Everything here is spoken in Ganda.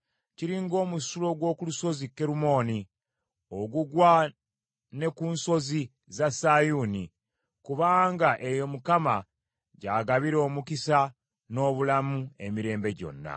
Kiri ng’omusulo gw’oku lusozi Kerumooni, ogugwa ne ku nsozi za Sayuuni; kubanga eyo Mukama gy’agabira omukisa n’obulamu emirembe gyonna.